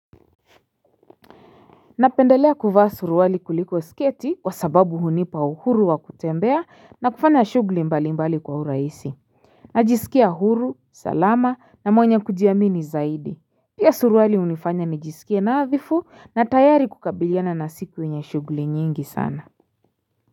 Napendelea kuvaa suruwali kuliko sketi kwa sababu hunipa uhuru wa kutembea na kufanya shugli mbali mbali kwa huraisi. Najisikia uhuru, salama na mwenye kujiamini zaidi. Pia suruwali hunifanya nijisikia nadhifu na tayari kukabiliana na siki wenye shugli nyingi sana.